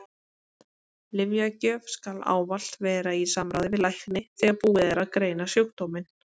Lyfjagjöf skal ávallt vera í samráði við lækni þegar búið er að greina sjúkdóminn.